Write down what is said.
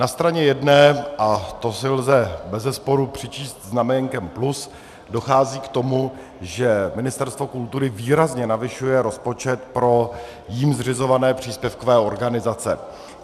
Na straně jedné, a to si lze bezesporu přičíst znaménkem plus, dochází k tomu, že Ministerstvo kultury výrazně navyšuje rozpočet pro jím zřizované příspěvkové organizace.